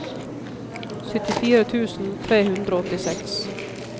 syttifire tusen tre hundre og åttiseks